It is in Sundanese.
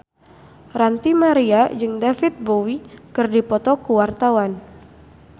Ranty Maria jeung David Bowie keur dipoto ku wartawan